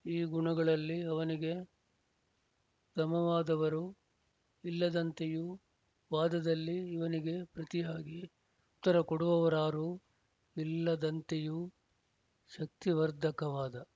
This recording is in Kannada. ಈ ಗುಣಗಳಲ್ಲಿ ಅವನಿಗೆ ಸಮವಾದವರು ಇಲ್ಲದಂತೆಯೂ ವಾದದಲ್ಲಿ ಇವನಿಗೆ ಪ್ರತಿಯಾಗಿ ಉತ್ತರಕೊಡುವವರಾರೂ ಇಲ್ಲದಂತೆಯೂ ಶಕ್ತಿವರ್ಧಕವಾದ